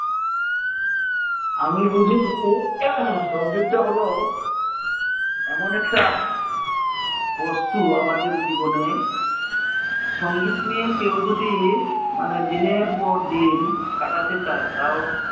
আমি বুঝি কি সঙ্গীত টা হলো এমন একটা বস্তু আমাদের জীবনে সঙ্গীত নিয়ে কেউ যদি মানে দিনের পর দিন কাটাতে চাই টাও